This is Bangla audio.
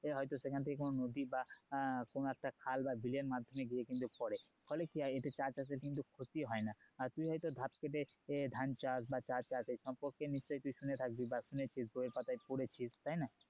হয়তো সেখান থেকে কোনো নদী বা কোনো একটা খাল বা বিলের মাধ্যমে গিয়ে কিন্তু পরে ফলে কি হয় এতে চা চাষের কিন্তু ক্ষতি হয় না আর তুই হয়তো ধাপ কেটে ধান চাষ বা চা চাষ এসম্পর্কে নিশ্চয় তুই শুনে থাকবি বা শুনেছিস বই এর পাতায় পড়েছিস তাইনা